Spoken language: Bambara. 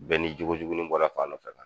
Bɛɛ n'i jogojuguni bɔra fan dɔ fɛ